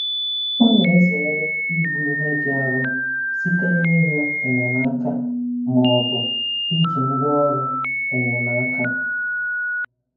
Ọ na-ezere ibu ihe dị arọ site n'ịrịọ enyemaka ma ọ bụ iji ngwaọrụ enyemaka.